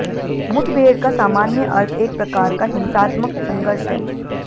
मुठभेड़ का सामान्य अर्थ एक प्रकार का हिंसात्मक संघर्ष है